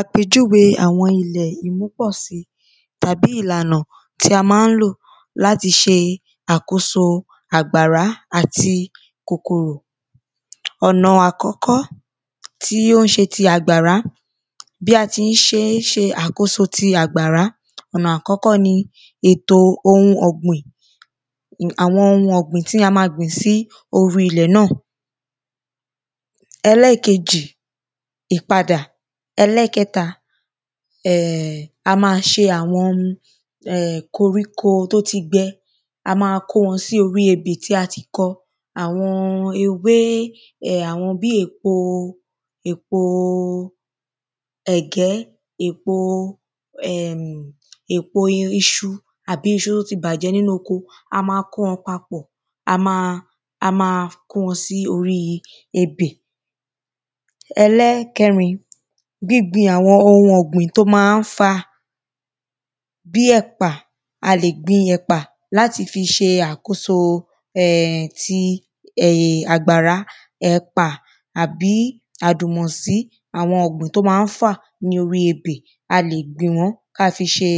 Àpèjúwe àwọn ilẹ̀ ìmúpọ̀sí tàbí ìlànà tí a má ń lò láti ṣe àkóso àgbárá àti kòkòrò. Ọ̀nà àkọ́kọ́ tí ó ń ṣe ti àgbàrá bí a ti ṣé ń ṣe tí àkóso ti àgbàrá ọ̀nà àkọ́kọ́ ni ètò ohun ọ̀gbìn àwọn ohun ọ̀gbìn tí a má gbìn sí orí ilẹ̀ náà Ẹlẹ́ẹ̀kejì ìpadà. Ẹlẹ́ẹ̀kẹta um a má ṣe àwọn um koríko tí ó ti gbẹ a má kó wọn sí orí ebè tí a ti kọ àwọn ewé àwọn bí èpo èpo ẹ̀gẹ́ èpo um èpo iṣu àbí iṣu tí ó ti bàjẹ́ nínú oko a má kó wọn papọ̀ a má a má kó wọn sí orí ebè. Ẹlẹ́ẹ̀kẹrin gbíngbin àwọn ohun ọ̀gbìn tó má ń fà bí ẹ̀pà a lè gbin ẹ̀pà láti fi ṣe àkóso um ti àgbàrá ẹ̀pà àbí àdùnmọ̀sí àwọn ọ̀gbìn tí ó mam ń fà ní orí ebè a lè gbìn wọ́n kí a fi ṣe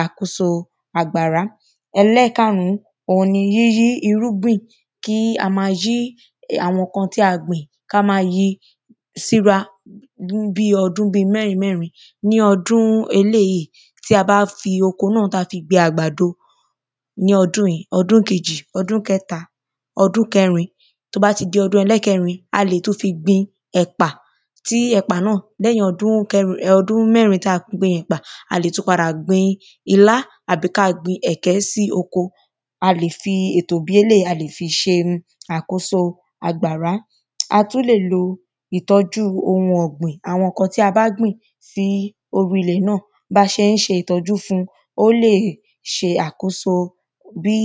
àkóso àgbárá Ẹlẹ́ẹ̀karùn òhun ni yíyí irúgbìn kí a má yí àwọn nǹkan tí a gbìn ká má yí síra bí ọdún bí mẹ́rin mẹ́rin ní bí ọdún eléèyí tí a bá fi oko náà tí a fi gbẹ àgbàdo ní ọdún yìí ọdún kejì ọdún kẹta ọdún kẹrin tó bá ti di ọdún ẹlẹ́ẹ̀kẹrin a lè tún fi gbin ẹ̀pà tí ẹ̀pà náà lẹ́yìn ọdún mẹ́rin tí a ti fi gbin ẹ̀pà a lè tún padà gbin ilá tàbí kí a gbin ẹ̀gẹ́ sí oko a lè fi ètò bí eléèyí a lè fi ṣe àkóso àgbàrá. A tún lè lo ìtọ́jú ohun ọ̀gbìn àwọn nǹkan tí a bá gbìn sí orí ilẹ̀ náà bá ṣe ń ṣe ìtọ́jú fún ó lè ṣe àkóso bí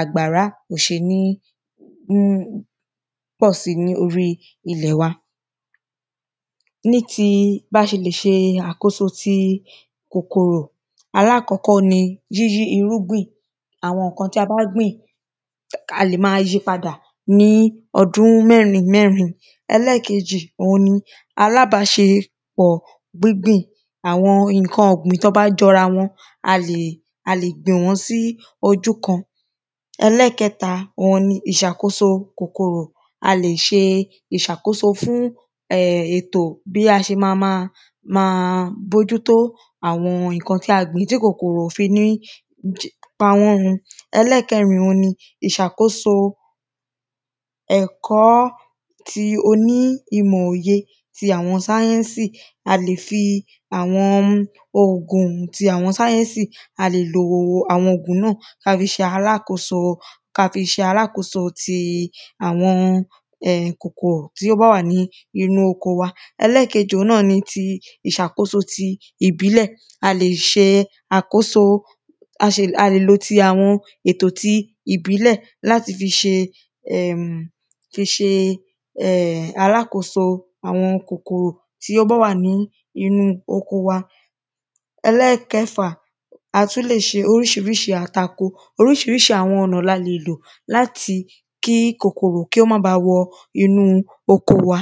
àgbàrá ò ṣe ní ní pọ̀ sí ní orí ilẹ̀ wa. Ní ti bá ṣe le ṣe àkóso ti kòkòrò alákọ́kọ́ ni yíyí irúgbìn àwọn nǹkan tí a bá gbìn a lè má yí padà ní ọdún mẹ́rin mẹ́rin ẹlẹ́ẹ̀kejì òhun ni alábàṣepọ̀ gbíngbìn àwọn nǹkan ọ̀gbìn tán bá jọra wọn a lè gbìn wọ́n sí ojú kan ẹlẹ́ẹ̀kẹta òhun ni ìṣàkóso kòkòrò a lè ṣe ìṣàkóso fún ètò bí a ṣe má má má bójútó àwọn nǹkan tí a gbìn tí kòkòrò ò fi ní pa wọ́n run. ẹlẹ́ẹ̀kẹrin òhun ni ìṣàkóso ẹ̀kọ́ ti oní ti ìmọ̀ òye ti àwọn sáyẹ́nsì a lè fi àwọn òògùn ti àwọn sáyẹ́nsì a lè lo àwọn òògùn náà kí a fi ṣe alákoso ká fi ṣe alákoso ti àwọn kòkòrò tí ó bá wà ní inú oko wa. Ẹlẹ́ẹ̀kejì òhun náà ni ti ìṣàkóso ti ìbílẹ̀ a lè ṣe àkóso a lè lo ti àwọn ètò ti ìbílẹ̀ láti fi ṣe um fi ṣe alákoso àwọn kòkòrò tí ó bá wà ní inú oko wa Ẹlẹ́ẹ̀kẹfà a tún lè ṣe oríṣiríṣi àtakò oríṣiríṣi àwọn ọ̀nà la lè lò láti kí kòkòrò kí ó má ba wọ inú oko wa.